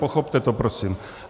Pochopte to prosím.